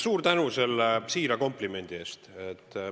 Suur tänu selle siira komplimendi eest!